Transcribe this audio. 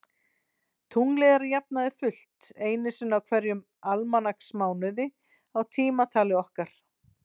Tunglið er að jafnaði fullt einu sinni í hverjum almanaksmánuði í tímatali okkar.